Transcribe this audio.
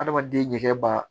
Adamaden ɲɛkɛ ba